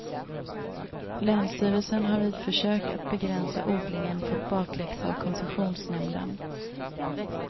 Länsstyrelsen har vid försök att begränsa odlingen fått bakläxa av koncessionsnämnden.